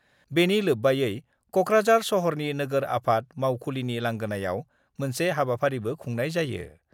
बेनि लोब्बायै कक्राझार सहरनि नोगोर आफाद मावखुलिनि लांगोनायाव मोनसे हाबाफारिबो खुंनाय जायो।